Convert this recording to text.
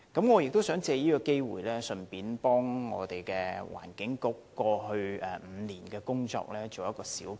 我想藉此機會為環境局過去5年的工作作一小結。